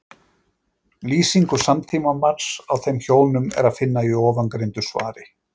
Lýsingu samtímamanns á þeim hjónum er að finna í ofangreindu svari.